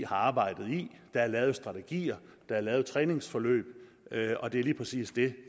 arbejdet i der er lavet strategier der er lavet træningsforløb og det er lige præcis det